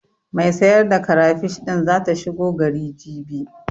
Mai sai da karafish din zata shigo gari, jibi.